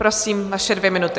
Prosím, vaše dvě minuty.